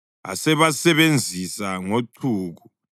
asebasebenzisa ngochuku.